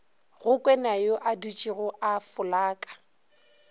go kwenayo adutšego a folaka